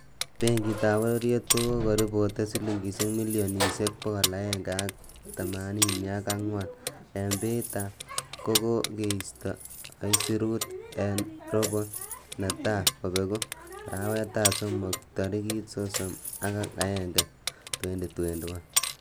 Benkitab Bororiet ko kakoripoten silingisiek milionisiek 184 en baita kokokeisto aisirut, en robo neta kobegu arawetab somok, tarigit sosom ak agenge,2021.